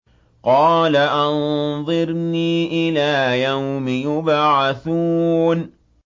قَالَ أَنظِرْنِي إِلَىٰ يَوْمِ يُبْعَثُونَ